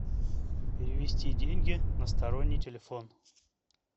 перевести деньги на сторонний телефон